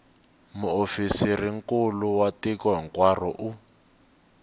muofisirinkulu wa tiko hinkwaro u